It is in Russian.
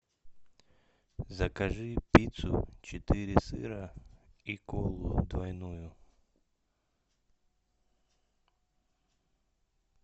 закажи пиццу четыре сыра и колу двойную